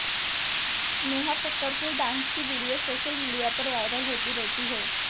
नेहा कक्कड़ के डांस की video social media पर वायरल होती रहती है